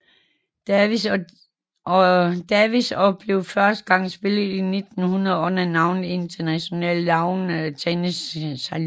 Davis og blev første gang spillet i 1900 under navnet International Lawn Tennis Challenge